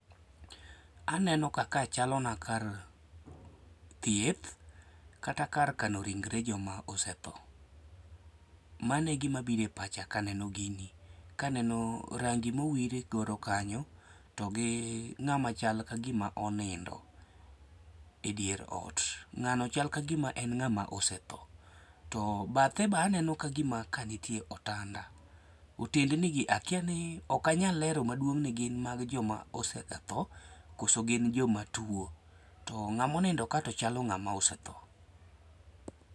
Aneno ka ka chalo na kar thieth kata kar kano ringre joma osetho. Mane gima bire pacha kaneno gini kaneno rangi mowire godo kanyo togi ng'ama chal kagima onindo e dier ot .Ng'ano chal kagima osetho to bathe baneno ka gima ka nitie otanda. Otendnigi akia ni ok anyal aler maduong' ni gin mag joma osetho kata gin joma tuo. To ng'amo nindo ka to chalo ng'ama osetho.